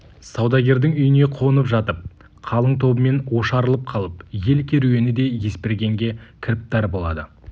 саудагердің үйіне қонып жатып қалың тобымен ошарылып қалып ел керуені де есбергенге кіріптар болады